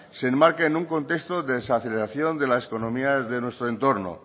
se enmarca en un contexto de desaceleración de las economías de nuestro entorno